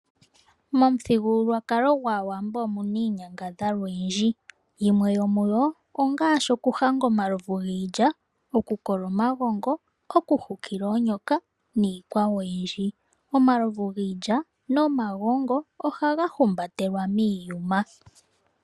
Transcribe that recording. Momuthigululwakalo gwAawambo omuna iinyangadhalwa oyindji. Yimwe yomuyo ongaashi okuhanga omalovu giilya, okukola omagongo, okuhukila oonyoka niikwawo oyindi. Omaluvu giilya nomagongo ohaga humbatelwa miiyuma.